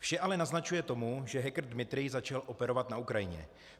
Vše ale naznačuje tomu, že hacker Dmitrij začal operovat na Ukrajině.